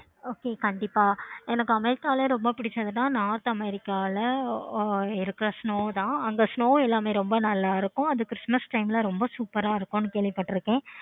okay கண்டிப்பா எனக்கு america ல ரொம்ப பிடிச்சது north america ல ஆஹ் snow தான் அந்த snow எல்லாமே ரொம்ப அழகா இருக்கும். அது christmas time ல ரொம்ப super ஆஹ் இருக்கும் கேள்வி பட்டுருக்கேன்.